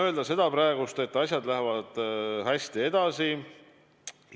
Ma saan öelda praegu seda, et asjad lähevad hästi edasi.